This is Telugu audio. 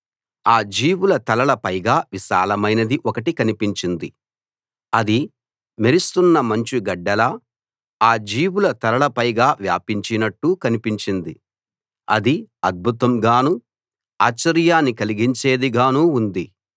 ఆ జీవుల తలల పైగా విశాలమైనది ఒకటి కనిపించింది అది మెరుస్తున్న మంచు గడ్డలా ఆ జీవుల తలల పైగా వ్యాపించినట్టు కనిపించింది అది అద్భుతం గానూ ఆశ్చర్యాన్ని కలిగించేది గానూ ఉంది